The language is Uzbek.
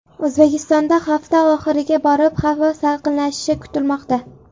O‘zbekistonda hafta oxiriga borib havo salqinlashishi kutilmoqda.